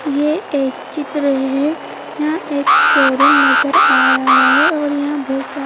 ये एक चित्र है यहाँ एक शोरूम नज़र आ रहा है और यहाँ बहुत सारे--